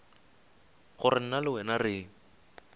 gore nna le wena re